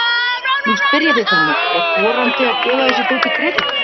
Nú spyr ég þig Tommi, er þorandi að gefa þessu dóti kredit?